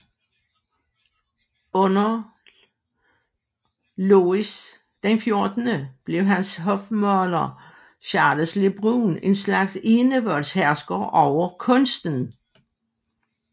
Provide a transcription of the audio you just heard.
Under Louis XIV blev hans hofmaler Charles Le Brun en slags enevoldshersker over kunsten